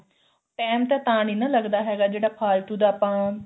time ਤਾਂ ਤਾਂ ਨੀ ਨਾ ਲੱਗਦਾ ਹੈਗਾ ਜਿਹੜਾ ਫਾਲਤੂ ਦਾ ਆਪਾਂ